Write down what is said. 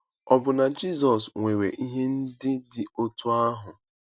Ọbụna Jizọs nwere ihe ndị dị otú ahụ.